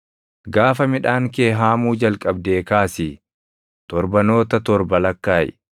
Gaafa midhaan kee haamuu jalqabdee kaasii torbanoota torba lakkaaʼi.